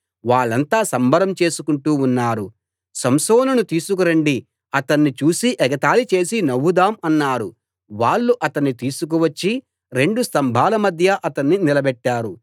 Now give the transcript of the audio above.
వాళ్ళంతా సంబరం చేసుకుంటూ ఉన్నారు సంసోనును తీసుకు రండి అతణ్ణి చూసి ఎగతాళి చేసి నవ్వుదాం అన్నారు వాళ్ళు అతణ్ణి తీసుకు వచ్చి రెండు స్తంభాల మధ్య అతణ్ణి నిలబెట్టారు